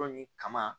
Yɔrɔ nin kama